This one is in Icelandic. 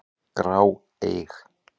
grá, eig.